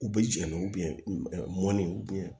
U bɛ jɛnni mɔnni